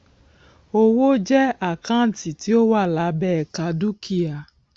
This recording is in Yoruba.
owó jẹ àkáǹtì tí ó wà lábẹ ẹka dúkìá